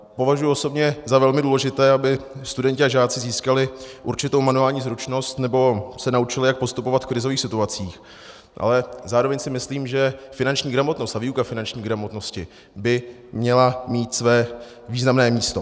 Považuji osobně za velmi důležité, aby studenti a žáci získali určitou manuální zručnost nebo se naučili, jak postupovat v krizových situacích, ale zároveň si myslím, že finanční gramotnost a výuka finanční gramotnosti by měla mít své významné místo.